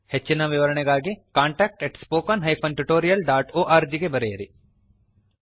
ಹೆಚ್ಚಿನ ವಿವರಣೆಗಾಗಿ contactspoken tutorialorg ಗೆ ಬರೆಯಿರಿ